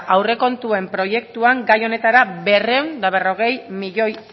aurrekontuen proiektuan gai honetara berrehun eta berrogei milioi